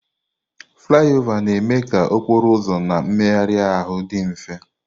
Flaiova na-eme ka okporo ụzọ na mmegharị ahụ dị mfe.